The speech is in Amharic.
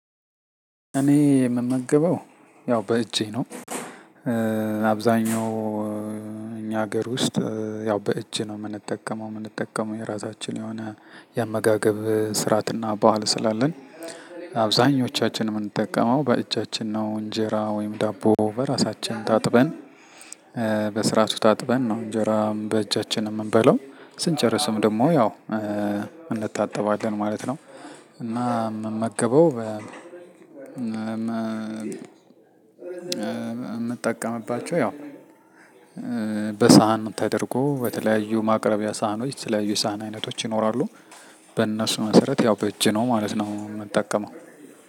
እኔ የምመገበው ያው በእጄ ነው። አብዛኛው እኛ ሀገር ውስጥ ያው በእጅ ነው የምንጠቀመው የምንጠቀመው የራሳችን የሆነ የአመጋገብ ስርዓትና በዓል ስላለን። አብዛኞቻችን የምንጠቀመው በእጃችን ነው። እንጀራ ወይም ዳቦ በራሳችን ታጥበን- በስራቱ ታጥበን ነው እንጀራም በእጃችን የምንበለው ስንጨርስም ደግሞ ያው እንታጠባለን ማለት ነው። እና የምመገበው በ- የምጠቀምባቸው ያው በሳህን ተደርጎ በተለያዩ ማቅረቢያ ሳህኖች የተለያዩ ሳህን አይነቶች ይኖራሉ። በእነሱ መሰረት ያው በእጅ ነው ማለት ነው የምጠቀመው።